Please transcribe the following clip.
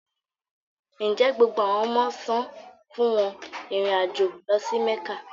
Nje gbogbo awọn ọmọ san fun wọn irin ajo lọ si Mekka?